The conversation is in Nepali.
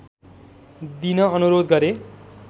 दिन अनुरोध गरे